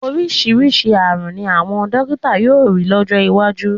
Oríṣiríṣi ààrùn ni àwọn dọ́kítà yóò rí lọ́jọ́ iwájú.